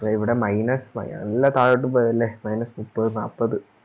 ഇപ്പൊ ഇവിടെ Minus നല്ല താഴോട്ട് പോയില്ലേ Minus മുപ്പത് നാപ്പത്